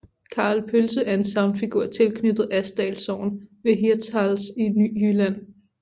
Karl Pølse er en sagnfigur tilknyttet Asdal Sogn ved Hirtshals i Nordjylland